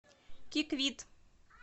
киквит